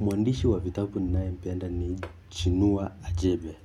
Mwandishi wa vitabu ninayempenda ni chinua ajebe.